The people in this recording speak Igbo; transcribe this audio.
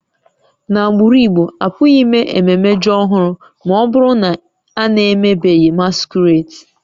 N'agbụrụ Igbo, a pụghị ime ememme ji ọhụrụ ma ọ bụrụ na a na-emebeghị masquerades